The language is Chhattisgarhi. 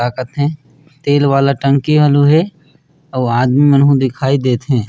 का कथे तेल वाला टंकी घलु हे आऊ आदमी मन दिखाई देथे।